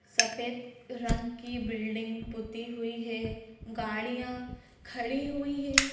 सफेद रंग की बिल्डिंग पुती हुई है गाड़ियाँ खड़ी हुई हैं।